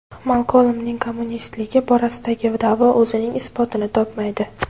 Malkolmning kommunistligi borasidagi da’vo o‘zining isbotini topmaydi.